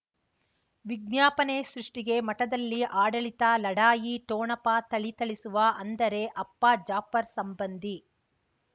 ವಿಜ್ಞಾಪನೆ ಸೃಷ್ಟಿಗೆ ಮಠದಲ್ಲಿ ಆಡಳಿತ ಲಢಾಯಿ ಠೊಣಪ ಥಳಿಥಳಿಸುವ ಅಂದರೆ ಅಪ್ಪ ಜಾಫರ್ ಸಂಬಂಧಿ